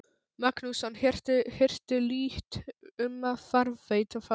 Magnússon, hirtu lítt um að varðveita það.